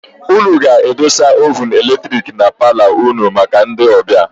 Ụnụ ga-adọsa oovunu eletiriki na paalo ụnụ maka ndị ọbịa.